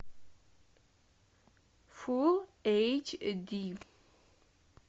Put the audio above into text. фулл эйч ди